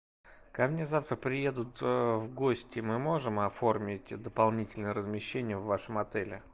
ко мне завтра приедут в гости мы можем оформить дополнительное размещение в вашем отеле